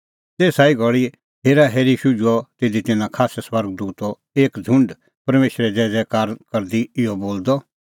तेसा ई घल़ी हेराहेरी शुझुअ तिधी तिन्नां खास्सै स्वर्ग दूतो एक छुंड परमेशरे ज़ैज़ैकारा करदी इहअ बोलदअ